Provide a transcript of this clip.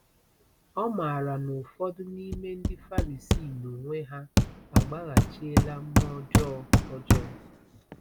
O maara na ụfọdụ n’ime ndị Farisii n’onwe ha agbaghachiela mmụọ ọjọọ. ọjọọ.